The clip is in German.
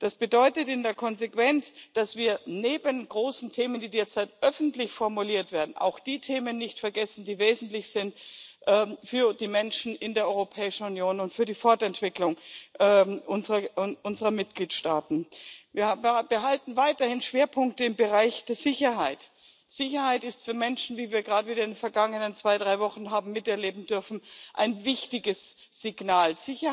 Das bedeutet in der Konsequenz, dass wir neben großen Themen, die derzeit öffentlich formuliert werden, auch die Themen nicht vergessen, die für die Menschen in der Europäischen Union und für die Fortentwicklung unserer Mitgliedstaaten wesentlich sind. Wir behalten weiterhin Schwerpunkte im Bereich der Sicherheit. Sicherheit ist für Menschen wie wir gerade wieder in den vergangenen zwei, drei Wochen miterleben durften ein wichtiges Signal.